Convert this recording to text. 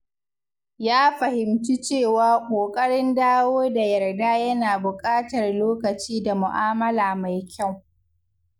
Ya fahimci cewa ƙoƙarin dawo da yarda yana buƙatar lokaci da mu'amala mai kyau.